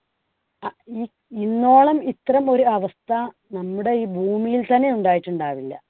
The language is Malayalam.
ഈ ഇന്നോളം ഇത്തരം ഒരു അവസ്ഥ നമ്മുടെ ഈ ഭൂമിയിൽ തന്നെ ഉണ്ടായിട്ടുണ്ടാവില്ല.